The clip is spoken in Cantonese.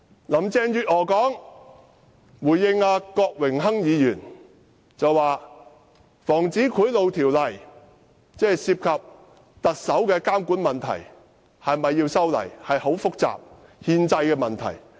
林鄭月娥回應郭榮鏗議員時說，是否修改《防止賄賂條例》涉及特首監管的問題，也牽涉憲制問題。